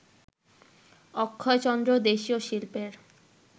অক্ষয়চন্দ্র দেশীয় শিল্পের